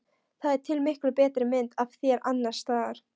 Það er til miklu betri mynd af þér annars staðar.